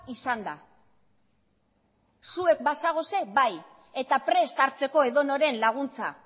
izanda zuek bazaudete bai eta prest hartzeko edonoren laguntza